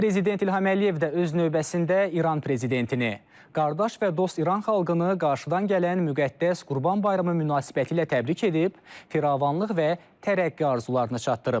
Prezident İlham Əliyev də öz növbəsində İran prezidentini, qardaş və dost İran xalqını qarşıdan gələn müqəddəs Qurban bayramı münasibətilə təbrik edib, firavanlıq və tərəqqi arzularını çatdırıb.